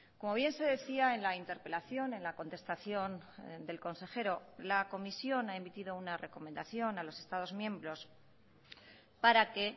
como bien se decía en la interpelación en la contestación del consejero la comisión ha emitido una recomendación a los estados miembros para que